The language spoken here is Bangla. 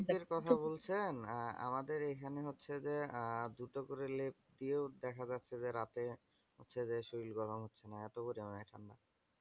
আপনি লেপ এর কথা বলছেন? আহ আমাদের এইখানে হচ্ছে যে, আহ দুটো করে লেপ দিয়েও দেখা যাচ্ছে যে রাত্রে হচ্ছে যে শরীর গরম হচ্ছে না। এতো পরিমানে ঠান্ডা।